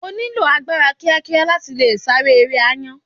O nílò agbára kíá kíá láti le sáré eré àáyá.